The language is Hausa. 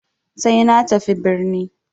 Sai na tafi birni.